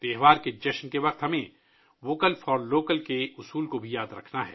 جشن منانے کے وقت ہمیں ووکل فار لوکل کا منتر بھی یاد رکھنا ہے